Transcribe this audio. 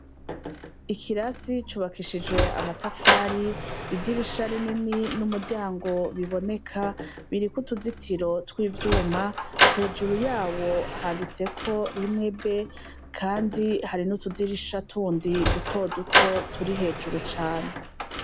Ikirasi cubakishijwe amatafari idirisha rinini numuryango biboneka biriko utuzitiro twivyuma hejuru yawo handitseko rimwe B kandi hari nutudirisha tundi dutoduto turi hejuru cane